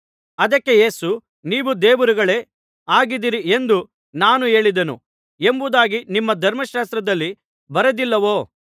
ಅದಕ್ಕೆ ಯೇಸು ನೀವು ದೇವರುಗಳೇ ಆಗಿದ್ದೀರಿ ಎಂದು ನಾನು ಹೇಳಿದೆನು ಎಂಬುದಾಗಿ ನಿಮ್ಮ ಧರ್ಮಶಾಸ್ತ್ರದಲ್ಲಿ ಬರೆದಿಲ್ಲವೋ